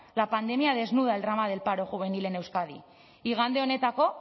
la pandemia desnuda el drama del paro juvenil en euskadi igande honetako